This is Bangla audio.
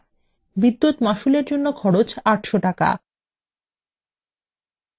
বিদ্যুৎ মাশুল এর জন্য খরচ ৮০০ টাকা